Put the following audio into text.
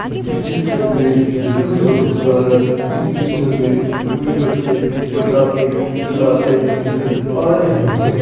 इस पिक्चर में देखा जा सकता है इस पिक्चर में कुछ बच्चे पटाखे जलाते नजर आ रहे हैं।